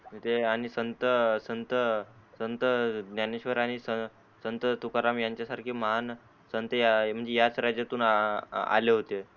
ते आणि ते संत संत संत ज्ञानेश्वर आणि संत तुकाराम यांच्या सारखे महान संते या म्हणजे या याच राज्यातू आले होते.